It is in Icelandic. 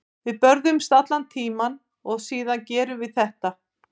Við börðumst allan tímann og síðan gerum við þetta.